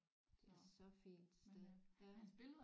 Det er så fint sted ja